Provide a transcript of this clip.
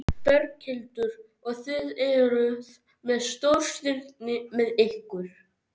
Berghildur: Og þið eruð með stórstirni með ykkur?